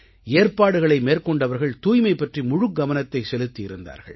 ஏற்பாடுகளை மேற்கொண்டவர்கள் தூய்மை பற்றி முழுக்கவனத்தை செலுத்தி இருந்தார்கள்